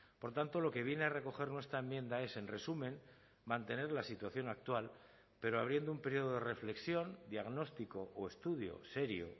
por tanto lo que viene a recoger nuestra enmienda es en resumen mantener la situación actual pero abriendo un período de reflexión diagnóstico o estudio serio